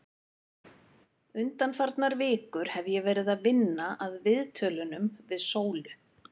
Undanfarnar vikur hef ég verið að vinna að viðtölunum við Sólu.